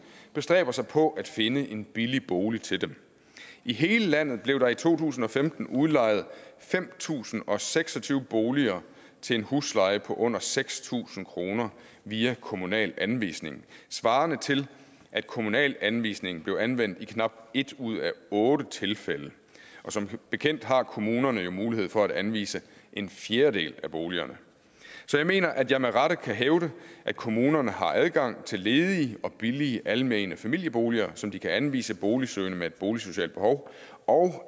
bestræber sig på at finde en billig bolig til dem i hele landet blev der i to tusind og femten udlejet fem tusind og seks og tyve boliger til en husleje på under seks tusind kroner via kommunal anvisning svarende til at kommunal anvisning blev anvendt i knap et ud af otte tilfælde og som bekendt har kommunerne jo mulighed for at anvise en fjerdedel af boligerne så jeg mener at jeg med rette kan hævde at kommunerne har adgang til ledige og billige almene familieboliger som de kan anvise boligsøgende med et boligsocialt behov og